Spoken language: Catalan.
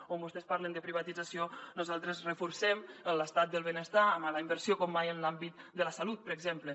on vostès parlen de privatització nosaltres reforcem l’estat del benestar amb la inversió com mai en l’àmbit de la salut per exemple